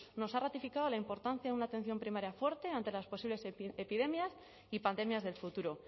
nos ha ratificado la importancia de una atención primaria fuerte ante las posibles epidemias y pandemias del futuro